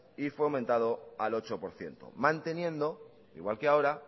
y fue aumentado al ocho por ciento manteniendo igual que ahora